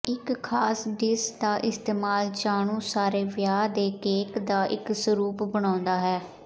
ਇੱਕ ਖਾਸ ਡਿਸ਼ ਦਾ ਇਸਤੇਮਾਲ ਜਾਣੂ ਸਾਰੇ ਵਿਆਹ ਦੇ ਕੇਕ ਦਾ ਇੱਕ ਸਰੂਪ ਬਣਾਉਦਾ ਹੈ